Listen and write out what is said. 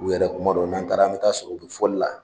U yɛrɛ kuma dɔw n'an taara an be taa sɔrɔ u be fɔli la